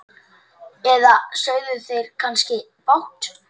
Eða sögðu þeir kannski fátt?